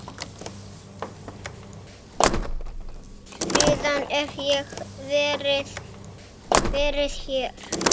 Síðan hef ég verið hér.